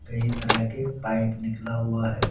कई तरह के पाइप निकला हुआ है।